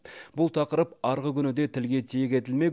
бұл тақырып арғы күні де тілге тиек етілмек